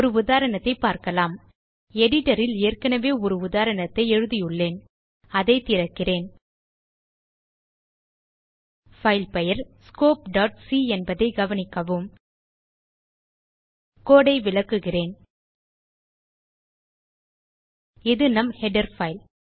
ஒரு உதாரணத்தைப் பார்க்கலாம் எடிட்டர் ல் ஏற்கனவே ஒரு உதாரணத்தைப் எழுதியுள்ளேன் அதை திறக்கிறேன் பைல் பெயர் scopeசி என்பதைக் கவனிக்கவும் கோடு ஐ விளக்குகிறேன் இது நம் ஹெடர் பைல்